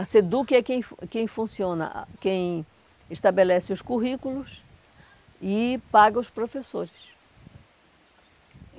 A SEDUC é quem quem funciona, quem estabelece os currículos e paga os professores.